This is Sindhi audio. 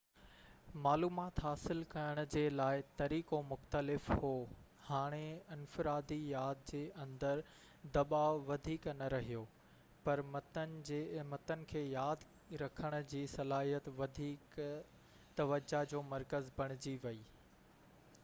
معلومات حاصل ڪرڻ جي لاءِ طريقو مختلف هو هاڻي انفرادي ياد جي اندر دٻاءُ وڌيڪ نہ رهيو پر متن کي ياد رکڻ جي صلاحيت وڌيڪ توجہ جو مرڪز بڻجي ويئي